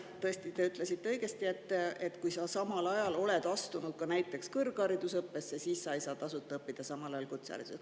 Tõesti, te ütlesite õigesti, et kui sa oled astunud ka näiteks kõrgharidusõppesse, siis sa ei saa samal ajal tasuta kutseharidust.